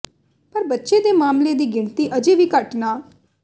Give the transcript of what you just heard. ਪਰ ਬੱਚੇ ਦੇ ਮਾਮਲੇ ਦੀ ਗਿਣਤੀ ਅਜੇ ਵੀ ਘੱਟ ਨਾ